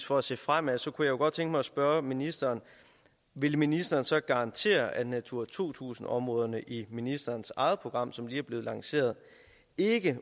for at se fremad så kunne jeg godt tænke mig at spørge ministeren vil ministeren så garantere at natura to tusind områderne i ministerens eget program som lige er blevet lanceret ikke